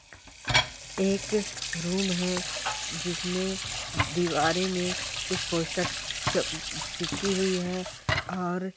एक रूम है जिसमें दीवारे में उस पोस्टर चप-चिपककी हुई है और--